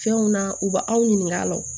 Fɛnw na u b'aw ɲininka a la o